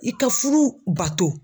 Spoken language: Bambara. I ka fudu bato